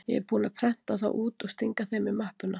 Ég er búinn að prenta þá út og stinga þeim í möppuna.